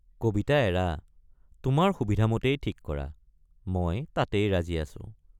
কবিতা এৰা তোমাৰ সুবিধামতেই ঠিক কৰা মই তাতেই ৰাজী আছোঁ।